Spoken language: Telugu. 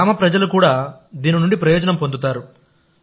గ్రామ ప్రజలు కూడా దీని నుండి ప్రయోజనం పొందుతారు